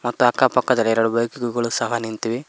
ಅಕ್ಕ ಪಕ್ಕದಲ್ಲಿ ಎರಡು ಬೈಕ್ ಗಳು ಸವ ನಿಂತಿವೆ.